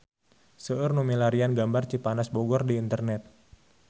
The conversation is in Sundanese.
Seueur nu milarian gambar Cipanas Bogor di internet